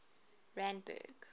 randburg